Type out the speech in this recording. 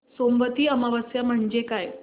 सोमवती अमावस्या म्हणजे काय